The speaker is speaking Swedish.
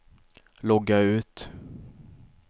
logga ut